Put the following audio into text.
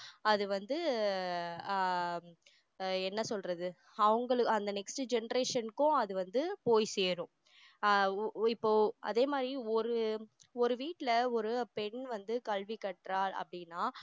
அது வந்து ஆஹ் அஹ் என்ன சொல்றது அவங்களுக்கு அந்த next generation க்கும் அது வந்து போய் சேரும் ஆஹ் இப்போ அதே மாதிரி ஒரு ஒரு வீட்டுல ஒரு பெண் வந்து கல்வி கற்றாள் அப்படின்னா